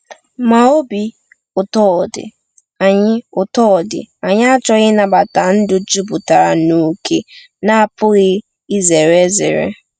Ma obi ụtọ dị, anyị ụtọ dị, anyị achọghị ịnabata ndụ juputara n’ókè na-apụghị izere ezere.